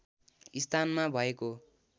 स्थानमा भएको